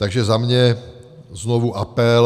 Takže za mě znovu apel.